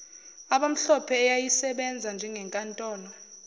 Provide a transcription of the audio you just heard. abamhlophe eyayisebenza njengenkantolo